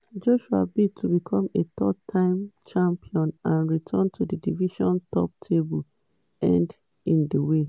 joshua bid to become a three-time champion and return to di division top table end in di way